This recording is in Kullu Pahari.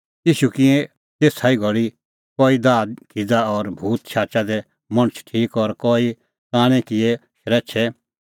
ईशू किऐ तेसा ई घल़ी कई दाहखिज़ा और भूत शाचै दै मणछ ठीक और कई कांणै किऐ शरैछै